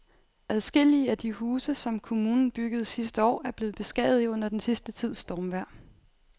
Adskillige af de huse, som kommunen byggede sidste år, er blevet beskadiget under den sidste tids stormvejr.